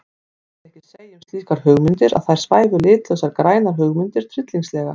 Mætti ekki segja um slíkar hugmyndir að þar svæfu litlausar grænar hugmyndir tryllingslega?